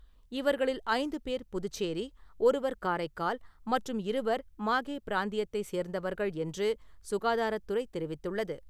இவர்களில் ஐந்து பேர் புதுச்சேரி, ஒருவர் காரைக்கால் மற்றும் இருவர் மாகே பிராந்தியத்தை சேர்ந்தவர்கள் என்று சுகாதாரத் துறை தெரிவித்துள்ளது.